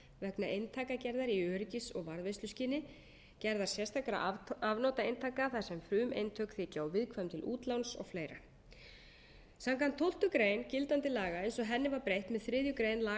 eintakagerðar í öryggis og varðveisluskyni gerðar sérstakra afnotaeintaka þar sem frumeintök þykja of viðkvæm til útláns og fleiri samkvæmt tólftu greinar gildandi laga eins og henni var breytt með þriðju grein laga